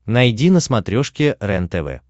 найди на смотрешке рентв